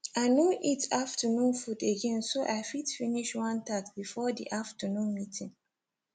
i no eat afternoon food again so i fit finish one task before the afternoon meeting